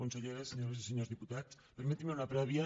consellera senyores i senyors diputats permetin me una prèvia